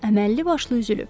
Əməlli başlı üzülüb.